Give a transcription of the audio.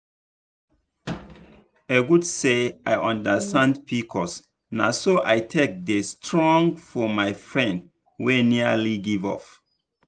e good say i understand pcos na so i take dey strong for my friend wey nearly give up.